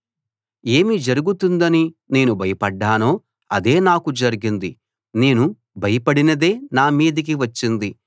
ఏమి జరుగుతుందని నేను భయపడ్డానో అదే నాకు జరిగింది నేను భయపడినదే నా మీదికి వచ్చింది